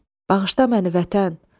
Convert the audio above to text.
Bağışla məni, vətən!